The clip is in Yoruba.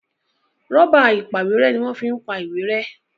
Rọ́bà ìpàwérẹ́ ní wón fí ń pá ìwé rẹ́